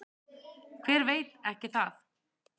Hver veit ekki það?